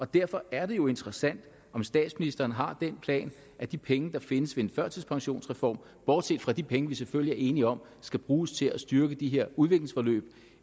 derfor er det jo interessant om statsministeren har den plan at de penge der findes ved en førtidspensionsreform bortset fra de penge som vi selvfølgelig er enige om at skal bruges til at styrke de her udviklingsforløb